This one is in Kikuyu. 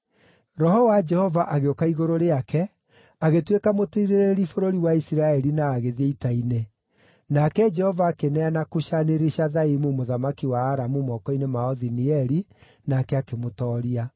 Roho wa Jehova agĩũka igũrũ rĩake, agĩtuĩka mũtiirĩrĩri bũrũri wa Isiraeli na agĩthiĩ ita-inĩ. Nake Jehova akĩneana Kushani-Rishathaimu mũthamaki wa Aramu moko-inĩ ma Othinieli, nake akĩmũtooria.